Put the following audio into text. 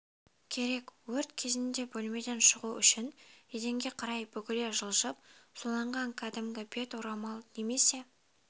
керек өрт кезінде бөлмеден шығу үшін еденге қарай бүгіле жылжып суланған кәдімгі бет орамал немесе